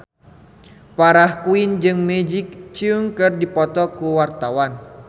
Farah Quinn jeung Maggie Cheung keur dipoto ku wartawan